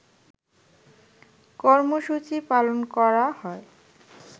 কর্মসূচি পালন করা হয়